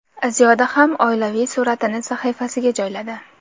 Ziyoda ham oilaviy suratini sahifasiga joyladi.